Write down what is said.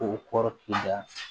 K'o kɔrɔ k'i da